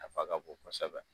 A nafa ka bon kosɛbɛ.